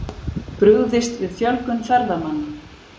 Brugðist við fjölgun ferðamanna